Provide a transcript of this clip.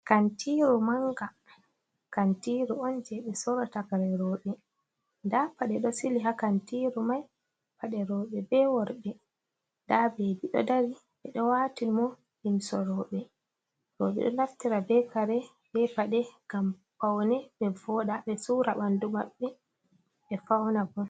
Kantiru manga, kantiru on je ɓe sorata kare roɓe, nda paɗe ɗo sili ha kantiru mai paɗe roɓe be worɓe, nda bebi ɗo dari ɓeɗo watini mo limsi roɓe, roɓe ɗo naftira be kare be paɗe gam paune, ɓe voɗa ɓe sura bandu maɓɓe ɓe fauna bo.